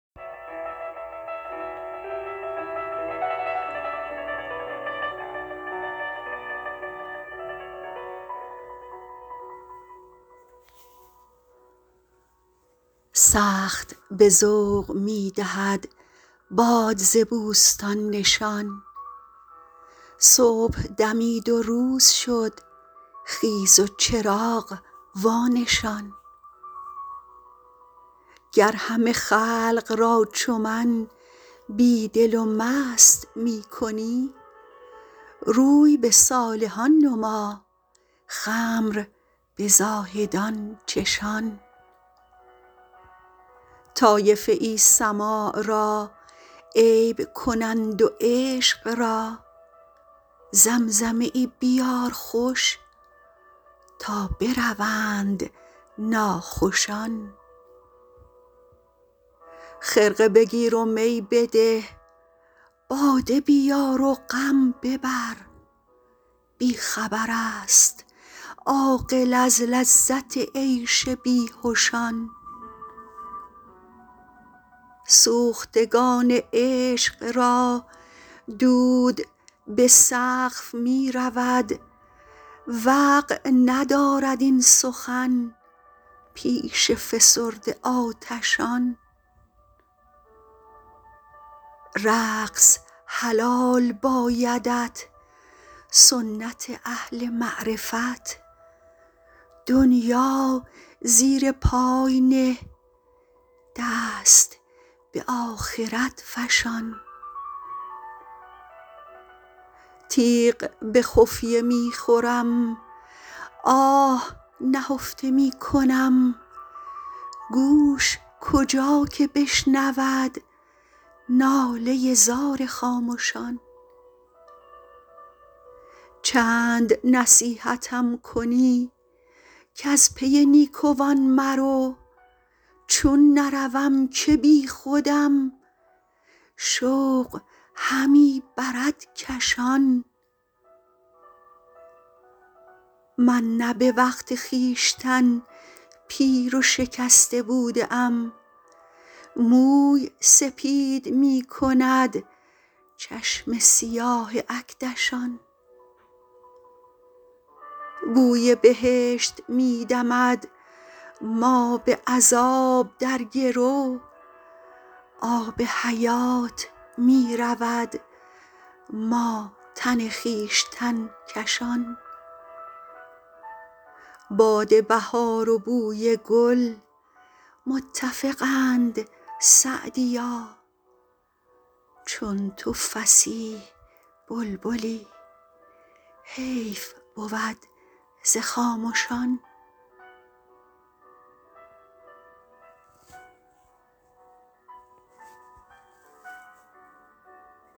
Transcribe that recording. سخت به ذوق می دهد باد ز بوستان نشان صبح دمید و روز شد خیز و چراغ وانشان گر همه خلق را چو من بی دل و مست می کنی روی به صالحان نما خمر به زاهدان چشان طایفه ای سماع را عیب کنند و عشق را زمزمه ای بیار خوش تا بروند ناخوشان خرقه بگیر و می بده باده بیار و غم ببر بی خبر است عاقل از لذت عیش بیهشان سوختگان عشق را دود به سقف می رود وقع ندارد این سخن پیش فسرده آتشان رقص حلال بایدت سنت اهل معرفت دنیا زیر پای نه دست به آخرت فشان تیغ به خفیه می خورم آه نهفته می کنم گوش کجا که بشنود ناله زار خامشان چند نصیحتم کنی کز پی نیکوان مرو چون نروم که بیخودم شوق همی برد کشان من نه به وقت خویشتن پیر و شکسته بوده ام موی سپید می کند چشم سیاه اکدشان بوی بهشت می دمد ما به عذاب در گرو آب حیات می رود ما تن خویشتن کشان باد بهار و بوی گل متفقند سعدیا چون تو فصیح بلبلی حیف بود ز خامشان